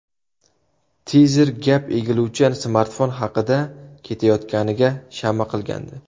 Tizer gap egiluvchan smartfon haqida ketayotganiga shama qilgandi.